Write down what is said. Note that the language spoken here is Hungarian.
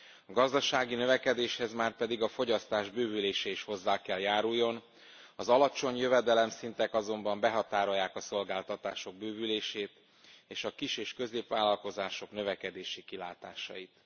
A gazdasági növekedéshez márpedig a fogyasztás bővülése is hozzá kell járuljon, az alacsony jövedelemszintek azonban behatárolják a szolgáltatások bővülését és a kis és középvállalkozások növekedési kilátásait.